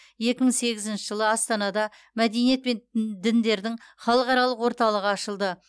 екі мың сегізінші жылы астанада мәдениет пен д діндердің халықаралық орталығы ашылды